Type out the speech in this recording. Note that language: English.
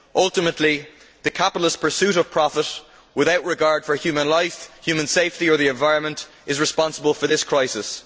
Ultimately, the capitalist pursuit of profit, without regard for human life, human safety or the environment, is responsible for this crisis.